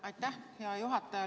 Aitäh, hea juhataja!